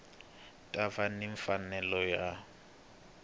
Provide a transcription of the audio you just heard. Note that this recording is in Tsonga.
ta va ni mfanelo yo